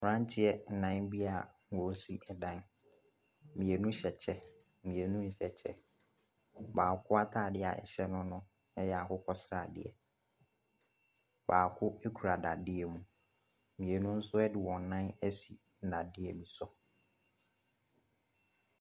Mmeranteɛ nnan bi a wɔresi dan. Mmienu hyɛ kyɛ, mmienu nhyɛ kyɛ. Baako atadeɛ a ɛhyɛ no, ɛyɛ akokɔ sradeɛ. Baako kura dadeɛ mu. Mmienu nso de wɔn nan asi nnadeɛ bi so.